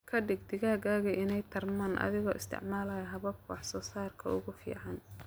Ka dhig digaaggaagu inay tarmaan adigoo isticmaalaya hababka wax soo saarka ugu fiican.